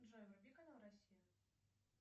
джой вруби канал россия